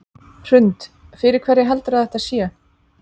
Hrund: Fyrir hverja heldurðu að þetta sé?